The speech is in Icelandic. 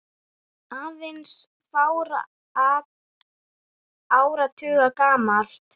aðeins fárra áratuga gamalt.